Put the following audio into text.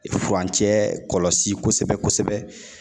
Furancɛ kɔlɔsi kosɛbɛ kosɛbɛ